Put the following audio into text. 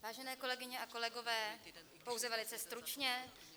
Vážené kolegyně a kolegové, pouze velice stručně.